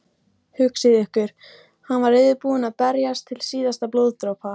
Hugsið ykkur, hann var reiðubúinn að berjast til síðasta blóðdropa.